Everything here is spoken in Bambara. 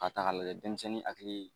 Adagalen tɛ denmisɛnnin hakili